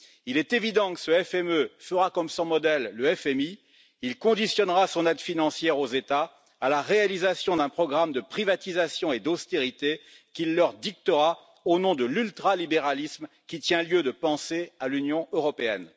Il est évident que ce FME fera comme son modèle, le FMI, il conditionnera son aide financière aux États à la réalisation d'un programme de privatisations et d'austérité imposé au nom de l'ultralibéralisme, qui tient lieu de pensée à l'Union européenne.